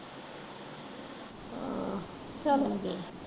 ਹਾਂ ਚਲ